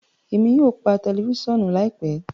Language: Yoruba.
Emi yóò pa tẹlifisiọnu laipẹ